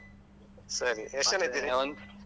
ಸರಿ ಎಷ್ಟ್ ಜನ ಇದ್ದೀರಿ?